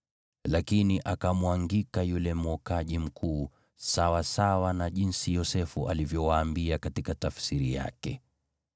lakini akamwangika yule mwokaji mkuu, sawasawa na jinsi Yosefu alivyowaambia katika tafsiri yake.